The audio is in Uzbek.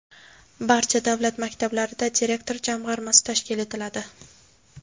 Barcha davlat maktablarida direktor jamg‘armasi tashkil etiladi.